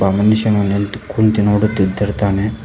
ಒಬ್ಬ ಮನುಷ್ಯನು ನಿಂತ್ ಕುಂತು ನೋಡುತ್ತಿರುತ್ತಾನೆ.